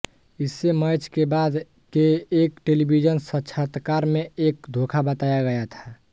इसे मैच के बाद के एक टेलीविजन साक्षात्कार में एक धोखा बताया गया था